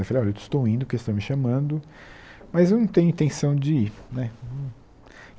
Falei, olha, estou indo, porque eles estão me chamando, mas eu não tenho intenção de ir né.